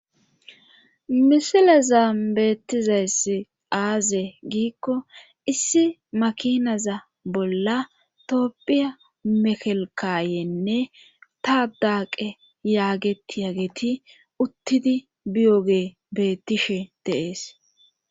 misilezan beettizayssi aaze giikko issi makinaza bolla toophphiya mekelkayenne tadaaqe yaageti uttidi biyoge beettishe dee'es